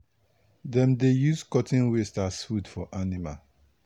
dem dey use cotton waste as food for animal